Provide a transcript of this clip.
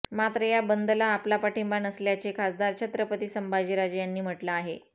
मात्र या बंदला आपला पाठिंबा नसल्याचे खासदार छत्रपती संभाजीराजे यांनी म्हटलं आहे